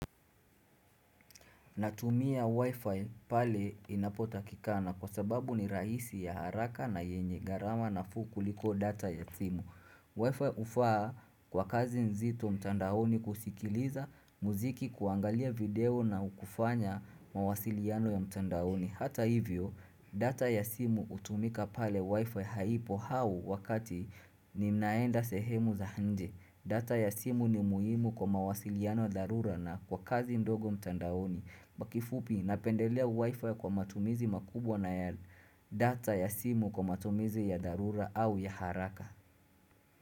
Natumia Wi-Fi pale inapotakikana kwa sababu ni rahisi ya haraka na yenye gharama nafuu kuliko data ya simu. Wi-Fi hufaa kwa kazi nzito mtandaoni kusikiliza muziki kuangalia video na kufanya mawasiliano ya mtandaoni. Hata hivyo, data ya simu hutumika pale Wi-Fi haipo au wakati ninaenda sehemu za nje. Data ya simu ni muhimu kwa mawasiliano dharura na kwa kazi ndogo mtandaoni. Kwa kifupi napendelea wifi kwa matumizi makubwa na ya data ya simu kwa matumizi ya darura au ya haraka.